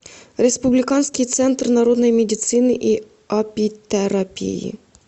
республиканский центр народной медицины и апитерапии